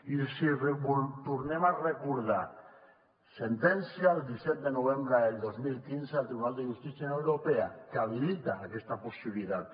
i els ho tornem a recordar sentència del disset de novembre del dos mil quinze del tribunal de justícia de la unió europea que habilita aquesta possibilitat